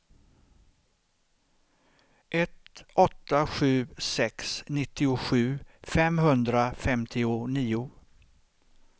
ett åtta sju sex nittiosju femhundrafemtionio